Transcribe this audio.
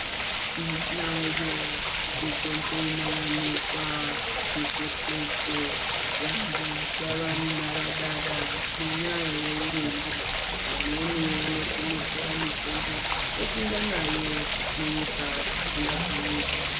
Tinayo mitombo inowanikwa peshe peshe vantu dzaanharadada ngenyaya yeurombo vamweni vanotonotora mutombo vopinda nayo munyika zvisingabvumirwi.